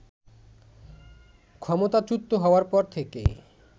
ক্ষমতাচ্যুত হওয়ার পর থেকেই